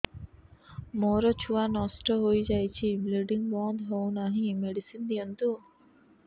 ମୋର ଛୁଆ ନଷ୍ଟ ହୋଇଯାଇଛି ବ୍ଲିଡ଼ିଙ୍ଗ ବନ୍ଦ ହଉନାହିଁ ମେଡିସିନ ଦିଅନ୍ତୁ